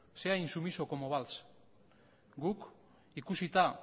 sea insumiso como valls guk ikusita